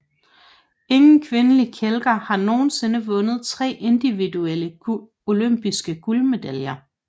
Ingen kvindelig kælker har nogensinde vundet tre individuelle olympiske guldmedaljer